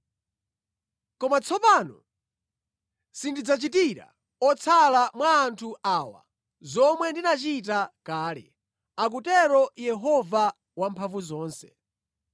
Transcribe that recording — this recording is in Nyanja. Koma tsopano sindidzachitira otsala mwa anthu awa zomwe ndinachita kale,” akutero Yehova Wamphamvuzonse.